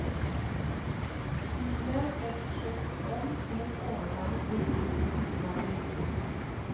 Smilet ble forsøkt gjort om til et overbærende flir uten at det lyktes.